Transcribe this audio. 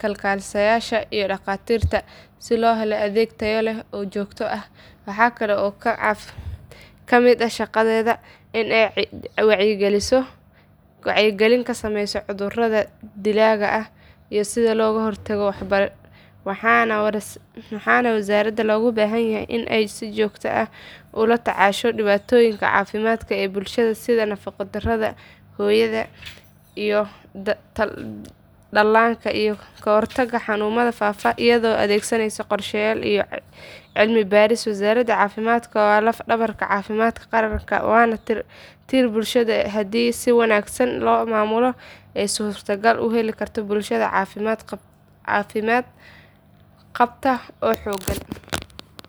kalkaaliyeyaasha iyo dhaqatiirta si loo helo adeeg tayo leh oo joogto ah waxaa kale oo ka mid ah shaqadeeda in ay wacyigelin ka samayso cudurrada dilaaga ah iyo sida loo hortago waxaana wasaaradda looga baahan yahay in ay si joogto ah ula tacaasho dhibaatooyinka caafimaad ee bulshada sida nafaqo darrada hooyada iyo dhallaanka iyo ka hortagga xanuunnada faafa iyadoo adeegsanaysa qorshayaal iyo cilmi baaris wasaaradda caafimaadka waa laf dhabarka caafimaadka qaranka waana tiirka bulshada oo haddii si wanaagsan loo maamulo ay suurtagal tahay in la helo bulsho caafimaad qabta oo xooggan.